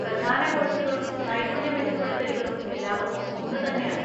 പ്രധാന കോഴ്‌സുകളും നൈപുണ്യ മെച്ചപ്പെടുത്തലുകളും എല്ലാവർക്കും ഒന്നുതന്നെയാണ്.